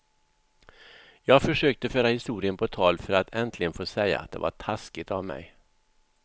Jag försökte föra historien på tal för att äntligen få säga att det var taskigt av mig.